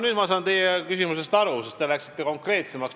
Nüüd ma saan teie küsimusest aru, sest te läksite konkreetsemaks.